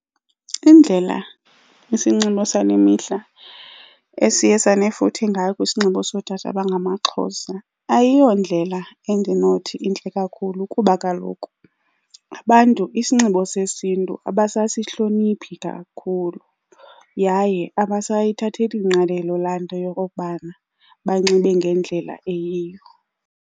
Indlela isinxibo sale mihla esiye sanefuthe ngalo kwisinxibo sootata abangamaXhosa ayiyo ndlela endinothi intle kakhulu kuba kaloku abantu isinxibo sesiNtu abasasihloniphi kakhulu, yaye abasayithatheni ngqalelo la nto yokokubana banxibe ngendlela eyiyo.